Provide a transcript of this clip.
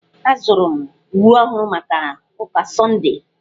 Azụrụ m uwe ọhụrụ maka ụka sọndee.